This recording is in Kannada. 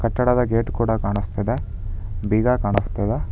ಕಟ್ಟಡದ ಗೇಟ್ ಕೂಡ ಕಾಣಿಸ್ತಾ ಇದೆ ಬೀಗ ಕಾಣಿಸ್ತಾ ಇದೆ.